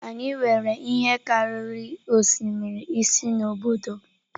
Anyị nwere ihe karịrị osimiri ise n’obodo m.